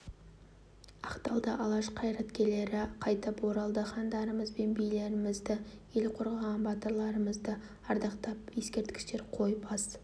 ақталды алаш қайраткерлері қайтып оралды хандарымыз бен билерімізді ел қорғаған батырларымызды ардақтап ескерткіштер қойып ас